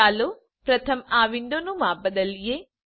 ચાલો પ્રથમ આ વિન્ડોનું માપ બદલીએ